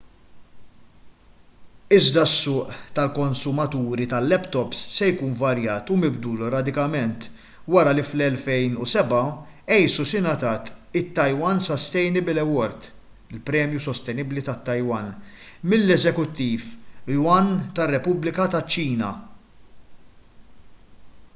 iżda s-suq tal-konsumaturi tal-laptops se jkun varjat u mibdul radikalment wara li fl-2007 asus ingħatat it- taiwan sustainable award” il-premju sostenibbli tat-taiwan mill-eżekuttiv yuan tar-repubblika taċ-ċina